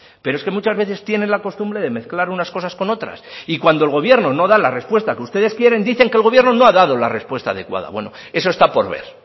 pero es que muchas veces tienen la costumbre de mezclar unas cosas con otras y cuando el gobierno no da la respuesta que ustedes quieren dicen que el gobierno no ha dado la respuesta adecuada bueno eso está por ver